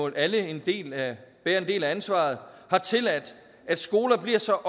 alle en del af ansvaret har tilladt at skoler bliver så